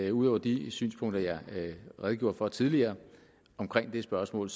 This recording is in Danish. at ud over de synspunkter jeg redegjorde for tidligere omkring det spørgsmål